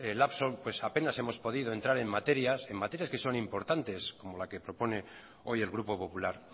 lapso pues apenas hemos podido entrar en materias en materias que son importantes como la que propone hoy el grupo popular